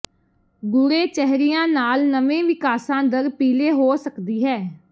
ਗੂੜ੍ਹੇ ਚਿਹਰਿਆਂ ਨਾਲ ਨਵੇਂ ਵਿਕਾਸ ਦਰ ਪੀਲੇ ਹੋ ਸਕਦੀ ਹੈ